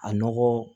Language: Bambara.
A nɔgɔ